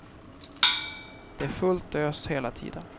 Det är fullt ös hela tiden.